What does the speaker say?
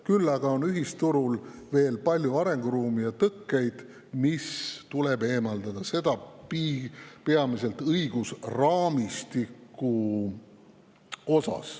Küll aga on ühisturul veel palju arenguruumi ja tõkkeid, mis tuleb eemaldada – seda peamiselt õigusraamistikus.